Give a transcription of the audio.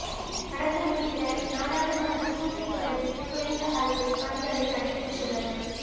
நடந்து முடிந்த நாடாளுமன்ற கூட்டத் தொடரில் குறைந்த அளவு பணிகளே நடைபெற்றுள்ளன